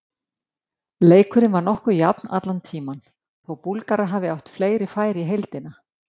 Leikurinn var nokkuð jafn allan tímann, þó Búlgarar hafi átt fleiri færi í heildina.